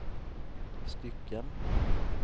stycken